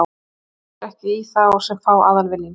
Hringja þeir ekki í þá sem fá aðalvinning?